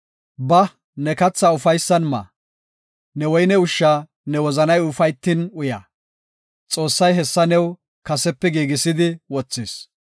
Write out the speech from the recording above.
Ba, ne kathaa ufaysan ma; ne woyne ushsha ne wozanay ufaytin uya. Xoossay hessa new kasepe giigisidi wothis.